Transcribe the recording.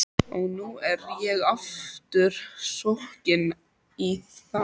Og nú er ég aftur sokkinn í það.